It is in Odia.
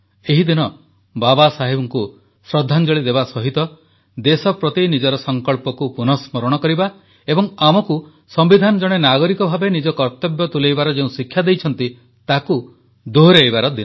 ଏହି ଦିନ ବାବାସାହେବଙ୍କୁ ଶ୍ରଦ୍ଧାଞ୍ଜଳି ଦେବା ସହିତ ଦେଶ ପ୍ରତି ନିଜର ସଂକଳ୍ପକୁ ପୁନଃସ୍ମରଣ କରିବା ଏବଂ ଆମକୁ ସମ୍ବିଧାନ ଜଣେ ନାଗରିକ ଭାବେ ନିଜର କର୍ତ୍ତବ୍ୟ ତୁଲାଇବାର ଯେଉଁ ଶିକ୍ଷା ଦେଇଛନ୍ତି ତାକୁ ଦୋହରାଇବାର ଦିନ